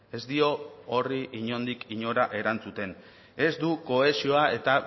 ez dio horri inondik inora erantzuten ez du kohesioa eta